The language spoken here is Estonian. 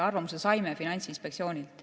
Arvamuse saime Finantsinspektsioonilt.